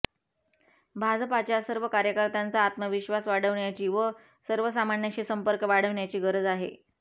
भाजपाच्या सर्व कार्यकर्त्यांचा आत्मविश्वास वाढविण्याची व सर्वसामान्यांशी संपर्क वाढविण्याची गरज आहे